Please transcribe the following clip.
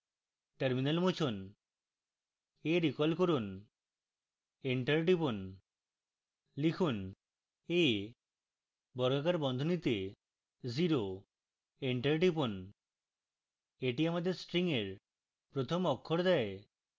terminal মুছুন